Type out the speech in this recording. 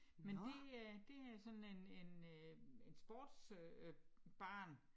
Men det er det er sådan en en øh en sportsbar